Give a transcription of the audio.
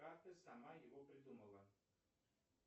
как ты сама его придумала